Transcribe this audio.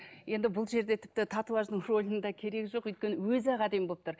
енді бұл жерде тіпті татуаждың рөлінің де керегі жоқ өйткені өзі ақ әдемі болып тұр